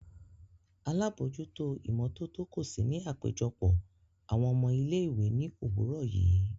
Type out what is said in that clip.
Alabojuto imototo ko si ni apejọpọ awọn ọmọ ile-iwe ni owurọ yii.